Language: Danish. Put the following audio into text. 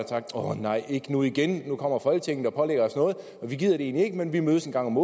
sagt årh nej ikke nu igen nu kommer folketinget og pålægger os noget de gider det egentlig ikke men de mødes en gang om